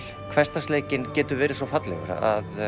hversdagsleikinn getur verið svo fallegur hann